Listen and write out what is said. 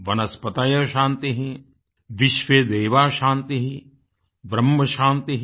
वनस्पतयः शान्तिः विश्वेदेवाः शान्तिः ब्रह्म शान्तिः